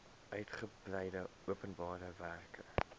uitgebreide openbare werke